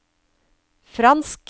fransk